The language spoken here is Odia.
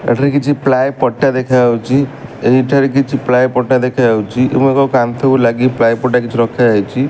ଏଠିରେ କିଛି ପ୍ଲାଏ ପଟି ଟା ଦେଖା ଯାଉଚି ଏହି ଠାରେ କିଛି ପ୍ଲାଏ ପଟା ଦେଖାଯାଉଚି ଏବଂ ଏବ କାନ୍ଥ କୁ ଲାଗି ପ୍ଲାଏ ପଟା କିଚି ରଖାଯାଇଛି।